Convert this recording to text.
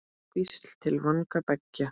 Hvísl til vanga beggja?